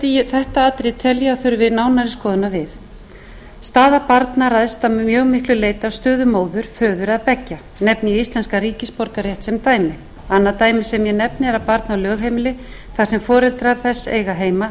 þetta atriði tel ég að þurfi nánari skoðunar við staða barna ræðst að mjög miklu leyti af stöðu móður föður eða beggja nefni ég íslenskan ríkisborgararétt sem dæmi annað dæmi sem ég nefni er að barn á lögheimili þar sem foreldrar þess eiga heima